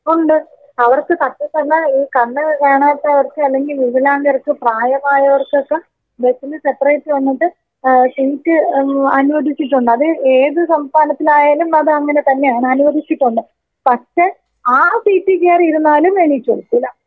ഉണ്ട്. അവർക്ക് not clear ഈ കണ്ണ് കാണാത്തവർക്ക് അല്ലെങ്കി വികലാംഗർക്ക്, പ്രായമാർക്കൊക്കെ ബസ്സിന് സെപ്പറേറ്റ് വന്നത് ഏഹ് സീറ്റ് ഏഹ് അനുവദിച്ചിട്ടുണ്ട് അത് ഏത് സംസ്ഥാനത്തിലായാലും അത് അങ്ങനെ തന്നെയാണ് അനുവദിച്ചിട്ടുണ്ട്. പക്ഷേ ആ സീറ്റിൽ കയറിയിരുന്നാലും എണീച്ചു കൊടുക്കൂല.